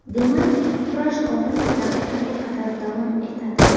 Demak, kurash oxirgi daqiqaga qadar davom etadi.